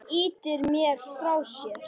Hann ýtir mér frá sér.